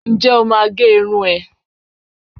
nje o má gẹ̀ Irún e?